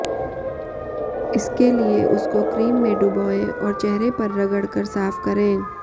इसके लिए उसको क्रीम में डुबोएं और चेहरे पर रगड़ कर साफ करें